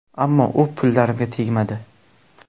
Ammo u pullarimga tegmadi.